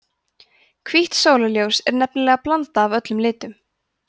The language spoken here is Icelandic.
hvítt sólarljós er nefnilega blanda af öllum litum